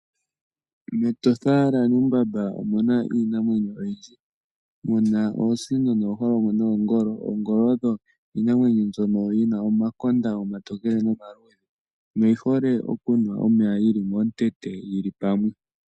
MEtosha la Namib omuna iinamwenyo ayihe muna iinamwenyo ayihe muna oosino nooholongo noongolo ,oongolo oyo iinamwenyo mboka yina omakonda oma luudhe noka tokele oyi hole a yi nu omeya yili momu tete.